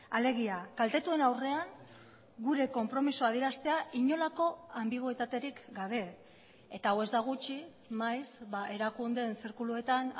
alegia kaltetuen aurrean gure konpromisoa adieraztea inolako anbiguetaterik gabe eta hau ez da gutxi maiz erakundeen zirkuluetan